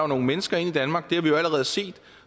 nogle mennesker ind i danmark det har vi allerede set